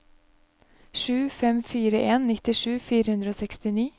sju fem fire en nittisju fire hundre og sekstini